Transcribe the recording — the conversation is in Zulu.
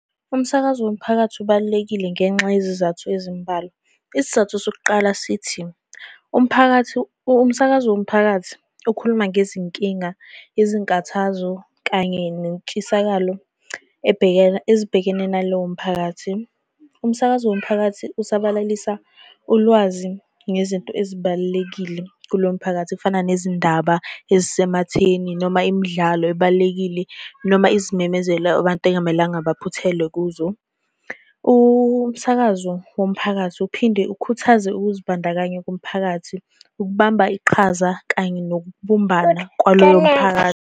Umsakazo womphakathi ubalulekile ngenxa yezizathu ezimbalwa. Isizathu sokuqala sithi, umphakathi, umsakazo womphakathi ukhuluma ngezinkinga, izinkathazo, kanye nentshisakalo ezibhekene nalowo mphakathi. Umsakazo womphakathi usabalalisa ulwazi ngezinto ezibalulekile kulo mphakathi. Kufana nezindaba ezisematheni noma imidlalo ebalulekile noma izimemezelo abantu ekungamelanga baphuthelwe kuzo. Umsakazo womphakathi uphinde ukhuthaze ukuzibandakanya komphakathi, ukubamba iqhaza kanye nokubumbana kwaloyo mphakathi.